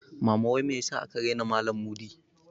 Mama wai me yasa aka raina malan Mudi?